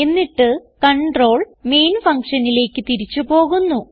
എന്നിട്ട് control main ഫങ്ഷനിലേക്ക് തിരിച്ച് പോകുന്നു